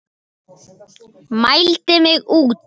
Mældi mig út.